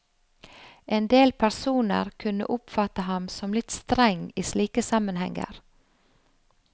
Endel personer kunne oppfatte ham som litt streng i slike sammenhenger.